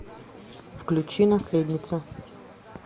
включи наследница